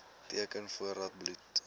teken voordat bloed